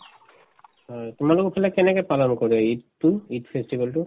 হয়, তোমালোকৰ ফালে কেনেকে পালন কৰে ঈদতো ঈদ festival তো